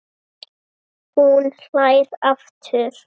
Hún hlær aftur.